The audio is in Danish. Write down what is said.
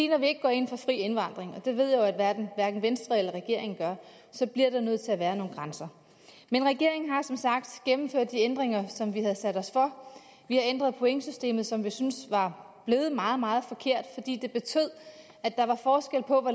når vi ikke går ind for fri indvandring og det ved jeg jo at hverken venstre eller regeringen gør så bliver der nødt til at være nogle grænser men regeringen har som sagt gennemført de ændringer som vi havde sat os for vi har ændret pointsystemet som vi synes var blevet meget meget forkert fordi det betød at der var forskel på hvor